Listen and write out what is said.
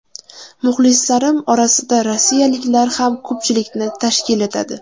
Muxlislarim orasida rossiyaliklar ham ko‘pchilikni tashkil etadi.